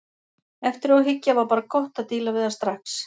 Eftir á að hyggja var bara gott að díla við það strax.